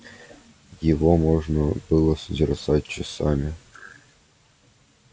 его можно было созерцать часами